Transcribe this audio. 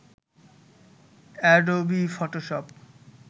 Adobe Photoshop